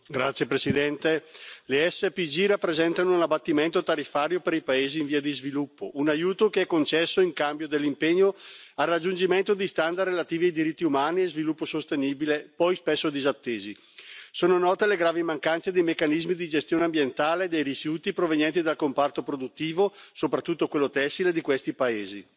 Signora Presidente, onorevoli colleghi, le SPG rappresentano un abbattimento tariffario per i paesi in via di sviluppo, un aiuto che è concesso in cambio dell'impegno al raggiungimento di standard relativi a diritti umani e sviluppo sostenibile, poi spesso disattesi. Sono note le gravi mancanze dei meccanismi di gestione ambientale dei rifiuti provenienti dal comparto produttivo soprattutto quello tessile di questi paesi.